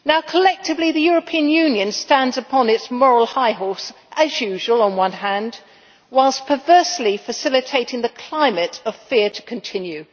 Collectively the European Union stands upon its moral high horse, as usual, on one hand, whilst perversely facilitating the climate of fear to continue.